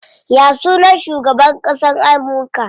Ya sunan shugaban ƙasan Amurka?